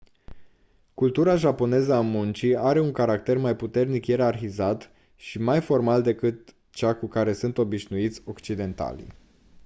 cultura japoneză a muncii are un caracter mai puternic ierarhizat și mai formal decât cea cu care sunt obișnuiți occidentalii